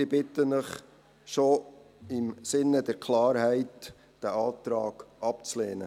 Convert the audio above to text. Ich bitte Sie, den Antrag nur schon im Sinne der Klarheit abzulehnen.